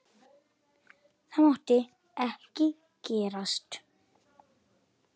Það mátti ekki gerast.